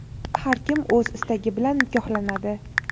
Har kim o‘z istagi bilan nikohlanadi.